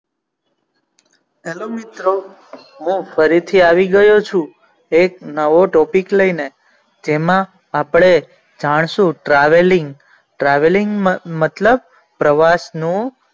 hello મિત્રો હું ફરી થી આવી ગયો છું એક નવો topic લઈ ને જેમાં આપણે જાણશું travelingtraveling મતલબ પ્રવાસ નું.